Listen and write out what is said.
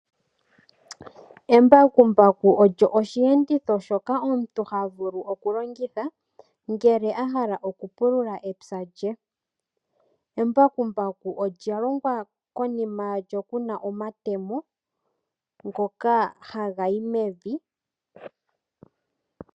Embakumbaku olyo osheenditho shoka omuntu ha vulu okulongitha ngele a hala okupulula epya lye. Embakumbaku olya longwa konima yalyo kuna omatemo ngoka haga yi mevi.